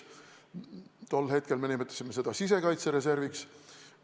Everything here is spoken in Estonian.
Praegu me nimetame seda kriisireserviks.